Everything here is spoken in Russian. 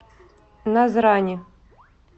назрани